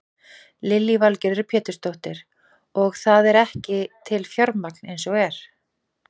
Lillý Valgerður Pétursdóttir: Og það er ekki til fjármagn eins og er?